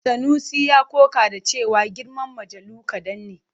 Sanusi ya ƙoƙa da cewa girman mujallu kaɗan ne.